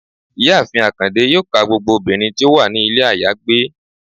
Ìyáàfín akande yọọ ka gbogbo obinrín ti o wa ni ilé ayagbe